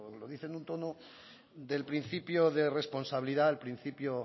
lo dice en un tono del principio de responsabilidad al principio